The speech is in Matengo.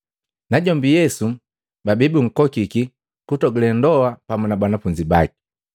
najombi Yesu babii bunkokiki ku kutogule ndoa pamu na banafunzi baki.